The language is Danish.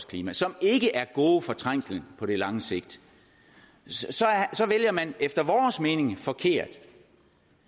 klima som ikke er gode for trængslen på det lange sigt så vælger man efter vores mening forkert